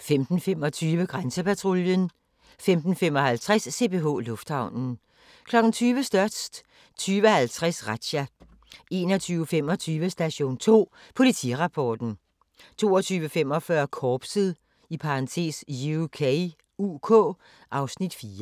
15:25: Grænsepatruljen 15:55: CPH Lufthavnen 20:00: Størst 20:50: Razzia 21:25: Station 2 Politirapporten 22:45: Korpset (UK) (Afs. 4)